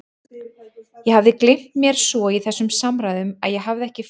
Ég hafði gleymt mér svo í þessum samræðum að ég hafði ekki fylgst með henni.